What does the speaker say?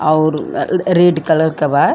अउर अ red colour के बा।